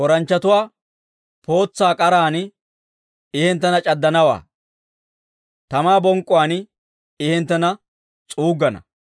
Tooranchchatuwaa pootsaa k'aran I hinttena c'addanawaa; tamaa bonk'k'uwaan I hinttena s'uuggana.